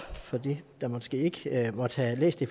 for dem der måske ikke måtte have læst det